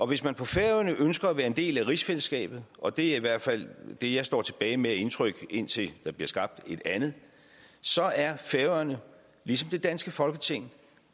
hvis man på færøerne ønsker at være en del af rigsfællesskabet og det er i hvert fald det jeg står tilbage med af indtryk indtil der bliver skabt et andet så er færøerne ligesom det danske folketing